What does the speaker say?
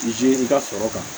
Izi ka sɔrɔ kan